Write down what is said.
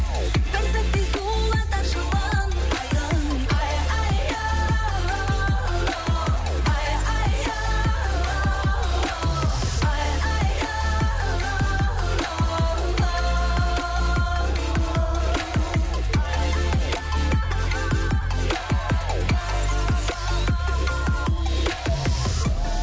бір сәтте сұлуларды жылынтайын айхай айхай айхай